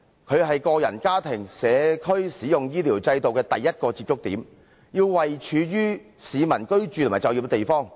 它是個人、家庭及社區使用醫療制度的第一個接觸點，要位處於市民居住和就業的地方。